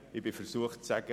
Ich bin versucht zu sagen: